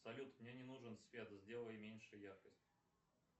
салют мне не нужен свет сделай меньше яркость